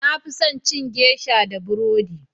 na fi son cin geisha da burodi